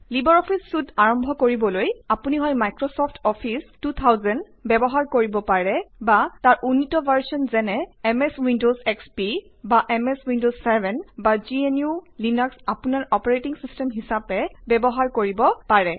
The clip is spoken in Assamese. লিবাৰ অফিচ চুইট আৰম্ভ কৰিবলৈ আপুনি হয় মাইক্ৰছফ্ট অফিচ 2000 ব্যৱহাৰ কৰিব পাৰে বা তাৰ উন্নিত সংস্কৰণ যেনে এমএছ উইণ্ডৱছ এসপি বা এমএছ উইণ্ডৱছ 7 বা gnuলিনাস আপোনাৰ অপাৰেটিং চিষ্টেম হিচাপে ব্যৱহাৰ কৰিব পাৰে